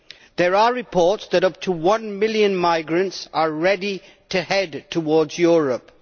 There are reports that up to 1 million migrants are ready to head towards Europe.